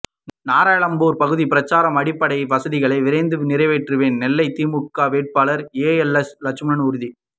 நாரணம்மாள்புரம் பகுதியில் பிரசாரம் அடிப்படை வசதிகளை விரைந்து நிறைவேற்றுவேன் நெல்லை திமுக வேட்பாளர் ஏஎல்எஸ் லட்சுமணன் உறுதி